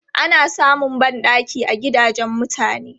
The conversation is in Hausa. Ana samun ban ɗaki a gidajen mutane.